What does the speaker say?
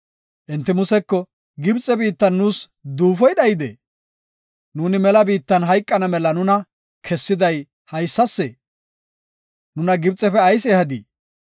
Enti Museko, “Gibxe biittan nuus duufoy dhayidee? Nuuni mela biitta hayqana mela nuna kessiday hessasee? Nuna Gibxefe ayis ehadii?